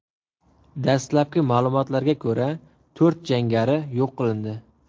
Dastlabki ma’lumotlarga ko‘ra, to‘rt jangari yo‘q qilindi.